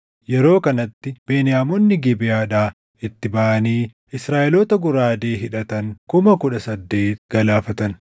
Yeroo kanatti, Beniyaamonni Gibeʼaadhaa itti baʼanii Israaʼeloota goraadee hidhatan kuma kudha saddeet galaafatan.